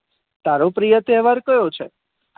તારો પ્રિય તહેવાર કયો છે.